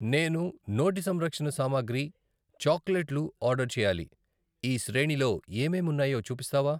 నేను నోటి సంరక్షణ సామాగ్రి, చాక్లెట్లు ఆర్డర్ చేయాలి, ఈ శ్రేణిలో ఏమేం ఉన్నాయో చూపిస్తావా?